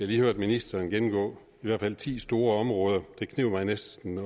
lige hørt ministeren gennemgå i hvert fald ti store områder det kneb næsten